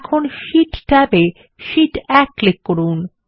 এখন sheet tab এ sheet 1 এ ক্লিক করুন